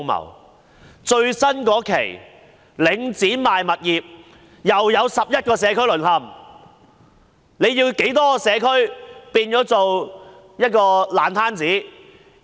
領展最新一期出售物業，又有11個社區淪陷，政府要多少個社區變成爛攤子？